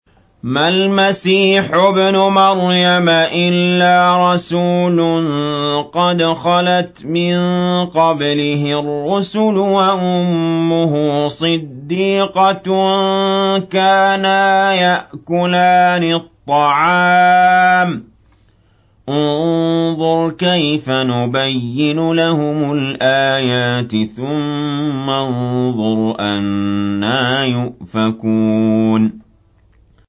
مَّا الْمَسِيحُ ابْنُ مَرْيَمَ إِلَّا رَسُولٌ قَدْ خَلَتْ مِن قَبْلِهِ الرُّسُلُ وَأُمُّهُ صِدِّيقَةٌ ۖ كَانَا يَأْكُلَانِ الطَّعَامَ ۗ انظُرْ كَيْفَ نُبَيِّنُ لَهُمُ الْآيَاتِ ثُمَّ انظُرْ أَنَّىٰ يُؤْفَكُونَ